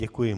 Děkuji.